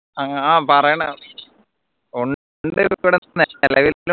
ആഹ് പറയണം